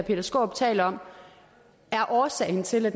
peter skaarup taler om er årsagen til at